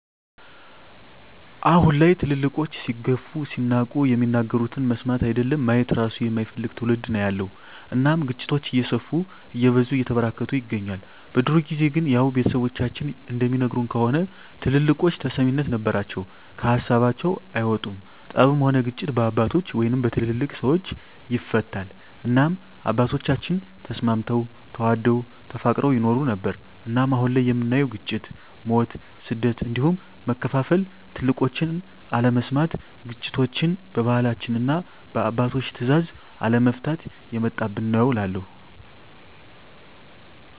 አሁን ላይ ትልልቆች ሲገፉ ሲናቁ የሚናገሩትን መስማት አይደለም ማየት እራሱ የማይፈልግ ትዉልድ ነዉ ያለዉ እናም ግጭቶች እየሰፉ እየበዙ እየተበራከቱ ይገኛል። በድሮ ጊዜ ግን ያዉ ቤተሰቦቻችን እንደሚነግሩን ከሆነ ትልልቆች ተሰሚነት ነበራቸዉ ከሀሳባቸዉ አይወጡም ጠብም ሆነ ግጭት በአባቶች(በትልልቅ ሰወች) ይፈታል እናም አባቶቻችን ተስማምተዉ ተዋደዉ ተፋቅረዉ ይኖሩ ነበር። እናም አሁን ላይ የምናየዉ ግጭ፣ ሞት፣ ስደት እንዲሁም መከፋፋል ትልቆችን አለመስማት ግጭቶችችን በባህላችንና እና በአባቶች ትእዛዝ አለመፍታት የመጣብን ነዉ እላለሁ።